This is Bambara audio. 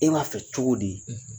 E b'a fɛ cogo di?